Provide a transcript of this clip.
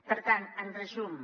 per tant en resum